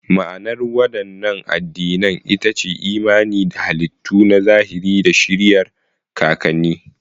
Ma'anar waɗannan addinan ita ce imani da halittu na zahiri da shiriyar kakanni.